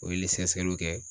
O ye sɛgɛsɛgɛliw kɛ